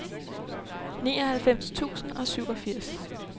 nioghalvfems tusind og syvogfirs